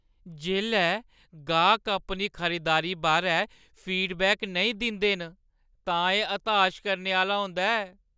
जेल्लै गाह्क अपनी खरीददारी बारै फीडबैक नेईं दिंदे न तां एह् हताश करने आह्‌ला होंदा ऐ।